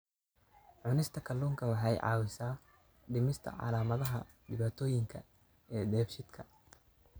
Cunista kalluunka waxa ay caawisaa dhimista calaamadaha dhibaatooyinka dheefshiidka.